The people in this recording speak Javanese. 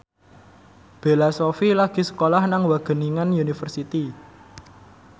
Bella Shofie lagi sekolah nang Wageningen University